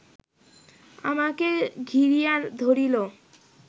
আমাকে ঘিরিয়া ধরিল